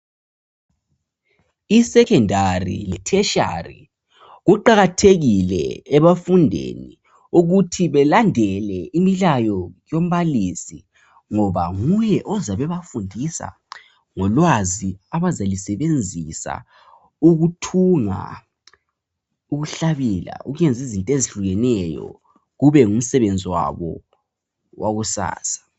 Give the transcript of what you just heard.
I Secondary le Tertiary, kuqakathekile ebafundini ukuthi balandele imilayo yoMbalisi ngoba nguye ozabe ebafundisa ngolwazi abazalusebenzisa ukuthunga, ukuhlabela ukuyenza izinto ezihlukeneyo kube ngumsebenzi wabo wakusasa.